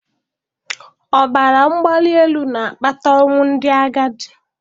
Ọbara mgbali elu na-akpata ọnwụ ndị agadi